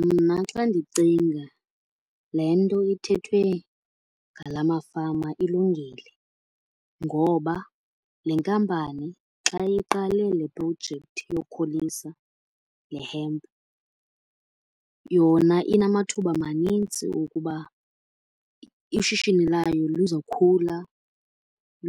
Mna xa ndicinga le nto ithethwe ngala mafama ilungile. Ngoba le nkampani xa iqale le projekthi yokhulisa le hemp yona inamathuba manintsi ukuba ishishini layo luzokhula